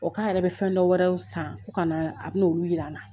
O k'a yɛrɛ bɛ fɛn dɔwɛrɛw san ko ka na a bɛn'olu jira n na